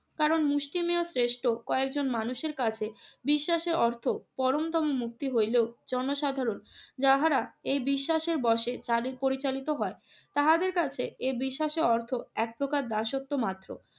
কারণ মুষ্টিমেয় শ্রেষ্ঠ কয়েকজন মানুষের কাছে বিশ্বাসের অর্থ পরমতম মুক্তি হইলেও জনসাধারণ যাহারা এই বিশ্বাসের বশে তাদের পরিচালিত হয়, তাহাদের কাছে এ বিশ্বাসে অর্থ একপ্রকার দাসত্ব মাত্র।